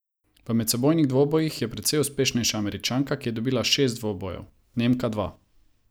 V medsebojnih dvobojih je precej uspešnejša Američanka, ki je dobila šest dvobojev, Nemka dva.